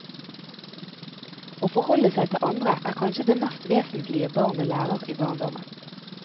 Å forholde seg til andre er kanskje det mest vesentlige barnet lærer i barndommen.